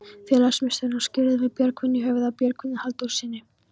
Félagsmiðstöðina skírðum við Björgvin í höfuðið á Björgvini Halldórssyni.